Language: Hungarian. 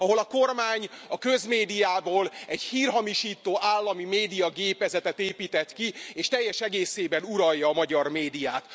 Ahol a kormány a közmédiából hírhamisító állami médiagépezetet épített ki, és teljes egészében uralja a magyar médiát.